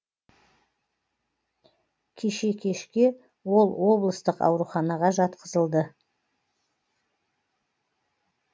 кеше кешке ол облыстық ауруханаға жатқызылды